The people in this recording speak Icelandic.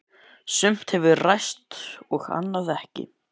Sumt hefur ræst og annað ekki.